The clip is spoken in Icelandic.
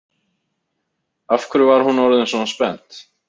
Af hverju var hún orðin svona spennt?